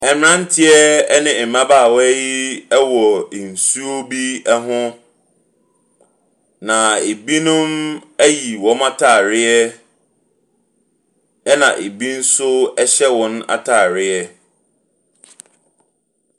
Abranteɛ bi ne mmabaawa yi wɔ nsuo bi ho. Na ebinom ayi wɔn ataareɛ ɛna ebi nso hyɛ wɔn ataareɛ.